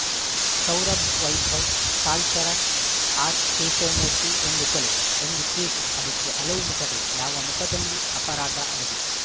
Saurabh Vaibhav Kalacharan R Keshavamurthy ಒಂದು ಕೊಲೆ ಒಂದು ಕೇಸು ಅದಕ್ಕೆ ಹಲವು ಮುಖಗಳು ಯಾವ ಮುಖದಲ್ಲಿ ಅಪರಾದ ಅಡಗಿದೆ